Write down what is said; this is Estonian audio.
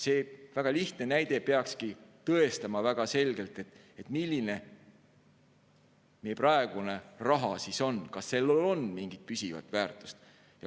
See väga lihtne näide peakski väga selgelt tõestama, milline meie praegune raha on, kas sellel on mingit püsivat väärtust.